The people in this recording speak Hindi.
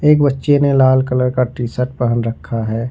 एक बच्चे ने लाल कलर का टी शर्ट पहन रखा है।